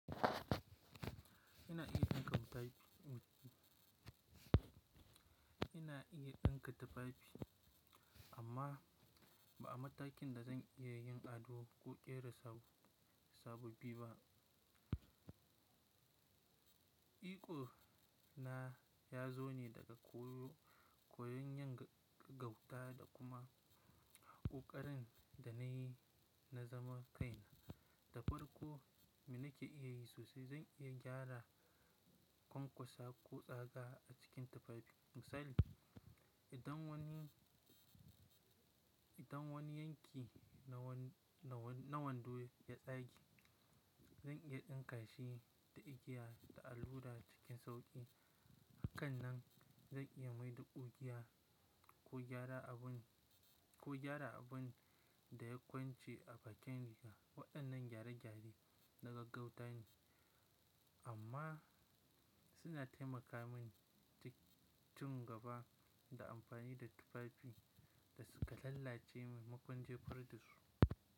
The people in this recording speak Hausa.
Ina iya ɗinka tufafi, amma ba a matakin da zan iya yin ado ko ƙera sabobi ba. Ikona ya zo ne daga koyon yan gauta da kuma ƙoƙarin da na yi na zaman kaina. Da farko, me nake iya yi sosai zan iya gyara kwankwasa ko tsaga a cikin tufafi. Misali, idan wani yanki na wando ya tsage, zan iya ɗinka shi da igiya da allura cikin sauƙi. Hakanan zan iya maida ƙugiya ko gyara abin da ya kwance a facen riga. Waɗannan gyare-gyare na gaggauta ne, amma suna taimaka mini ci gaba da amfani da tufafi da suka lallace maimakon jefar da su.